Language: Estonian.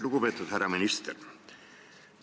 Lugupeetud härra minister!